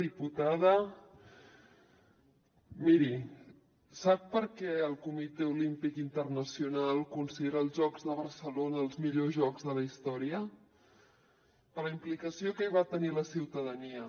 diputada miri sap per què el comitè olímpic internacional considera els jocs de barcelona els millors jocs de la història per la implicació que hi va tenir la ciutadania